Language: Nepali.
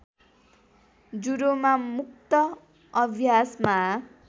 जुडोमा मुक्त अभ्यासमा